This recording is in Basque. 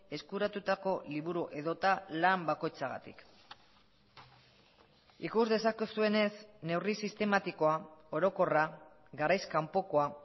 eskuratutako liburu edota lan bakoitzagatik ikus dezakezuenez neurri sistematikoa orokorra garaiz kanpokoa